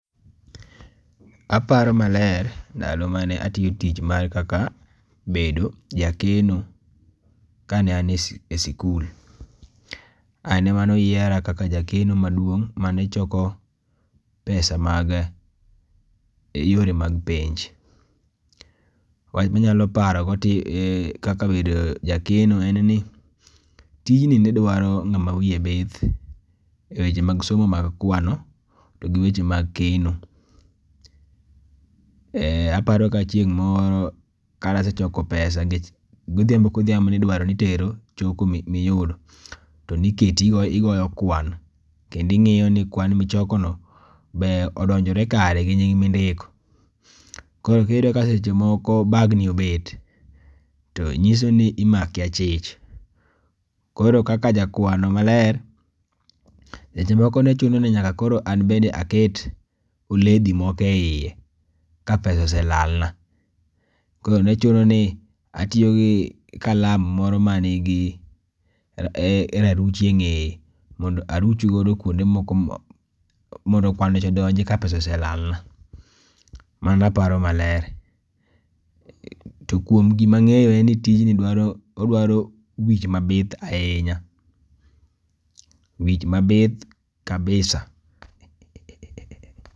Aparo maler ndalo mane atiyo tij ma kaka bedo jakeno kane an e siku sikul. Ane manoyiera kaka jaekneo maduong' mane choko pesa mag yore mag penj. Wanyalo paro go ti kaka bedo jakeno en ni tijni ne dwaro ng'ama wiye bith eweche mag somo mag kwano to gi weche mag keno. E aparo ka chieng' moro kanasechoko pesa nikech godhiambo kodhiambo nidwaro nitero choko mi miyudo to niketi igo igoyo kwan kendi ng'iyo ni kwan michoko no be odonjore kare gi nying mindiko. Koro kiyudo ka seche moko bagni obet to nyiso ni imaki achich. Koro kaka jakwano maler seche moko ne chuno ni nyaka koro an bende aket oledhi moko eiye ka pesa oselal na .Koro ne chuno ni atiyo gi kalam moro manigi raruchi e ng'eye mondo aruch godo kuonde moko mondo kwano cha odonji ka pesa oselal na mano aparo maler. To kuom gima ang'eyo en ni tijni dwaro wich maber ahinya wich mabith kabisa.